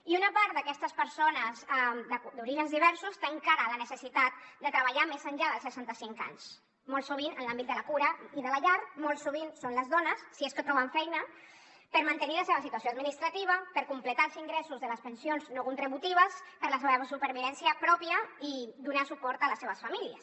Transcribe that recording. i una part d’aquestes persones d’orígens diversos té encara la necessitat de treballar més enllà dels seixanta cinc anys molt sovint en l’àmbit de la cura i de la llar molt sovint són les dones si és que troben feina per mantenir la seva situació administrativa per completar els ingressos de les pensions no contributives per a la supervivència pròpia i per donar suport a les seves famílies